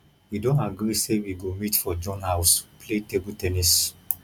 we don agree say we go meet for john house play table ten nis